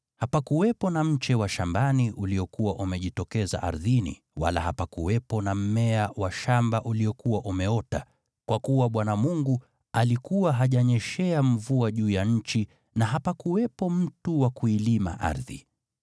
hapakuwepo na mche wa shambani uliokuwa umejitokeza ardhini, wala hapakuwepo na mmea wa shamba uliokuwa umeota, kwa kuwa Bwana Mungu alikuwa hajanyeshea mvua juu ya nchi, na hapakuwepo mtu wa kuilima ardhi,